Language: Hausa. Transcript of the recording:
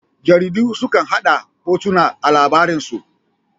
Jaridu su kan hada da hotuna a labaransu.